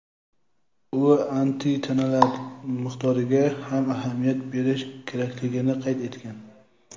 u antitanalar miqdoriga ham ahamiyat berish kerakligini qayd etgan.